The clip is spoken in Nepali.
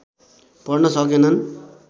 पढ्न सकेनन्